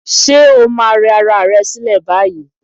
Ṣé o máa rẹ ara rẹ sílẹ̀ báyìí.